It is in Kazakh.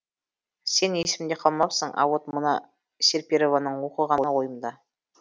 сен есімде қалмапсың а вот мына серперованың оқығаны ойымда